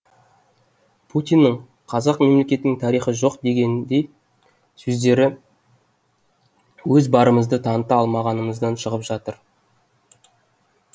путиннің қазақ мемлекетінің тарихы жоқ дегеніндей сөздері өз барымызды таныта алмағанымыздан шығып жатыр